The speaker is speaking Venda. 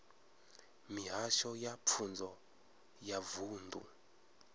mihasho ya pfunzo ya vunḓu